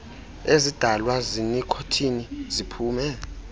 ezidalwa yinikhothini ziphume